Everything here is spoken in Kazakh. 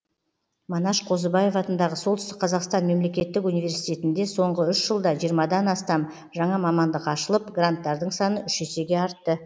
манаш қозыбаев атындағы солтүстік қазақстан мемлекеттік университетінде соңғы үш жылда жиырмадан астам жаңа мамандық ашылып гранттардың саны үш есеге артты